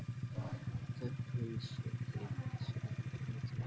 Gat hún slitið sig frá þessu?